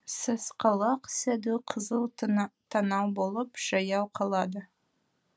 сасқалақ сәду қызыл танау болып жаяу қалады